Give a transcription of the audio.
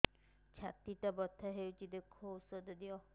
ଛାତି ଟା ବଥା ହଉଚି ଦେଖ ଔଷଧ ଦିଅ